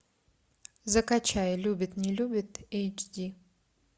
закачай любит не любит эйч ди